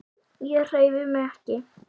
Ég hreyfi mig ekki.